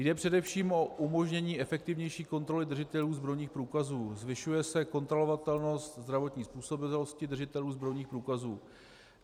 Jde především o umožnění efektivnější kontroly držitelů zbrojních průkazů, zvyšuje se kontrolovatelnost zdravotní způsobilosti držitelů zbrojních průkazů.